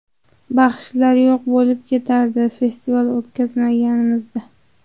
Baxshilar yo‘q bo‘lib ketardi festival o‘tkazmaganimizda.